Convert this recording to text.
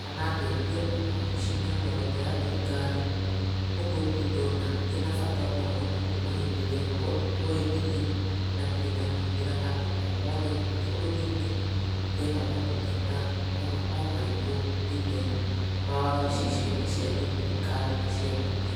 kana ngetio ona wabici yothe ya thirikari, ũguo ndirĩ ndona ĩna bata ona ũrĩku kuma rĩrĩa twoithirio, na ndirĩ ndamĩhũthira handũ o hothe gũkũ bũrũri-inĩ ngĩetha motungata omarĩkũ thĩinĩ wa wabici ciothe cia thirikari na cia mũingĩ.